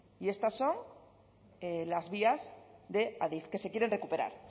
y estas son las vías de adif que se quieren recuperar